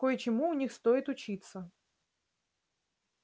кое-чему у них стоит учиться